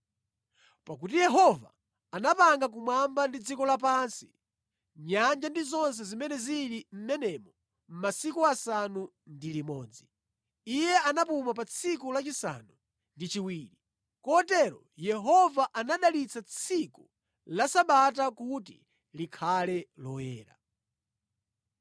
Pakuti Yehova anapanga kumwamba ndi dziko lapansi, nyanja ndi zonse zimene zili mʼmenemo mʼmasiku asanu ndi limodzi. Iye anapuma pa tsiku lachisanu ndi chiwiri. Kotero Yehova anadalitsa tsiku la Sabata kuti likhale loyera.